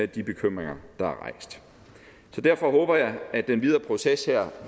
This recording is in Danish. de bekymringer der er rejst så derfor håber jeg at den videre proces her